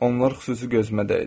Onlar xüsusi gözümə dəydi.